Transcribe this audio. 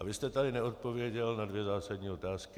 A vy jste tady neodpověděl na dvě zásadní otázky.